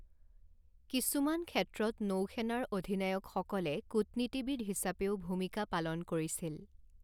কিছুমাণ ক্ষেত্ৰত নৌ সেনাৰ অধিনায়কসকলে কূটনীতিবিদ হিচাপেও ভূমিকা পালন কৰিছিল।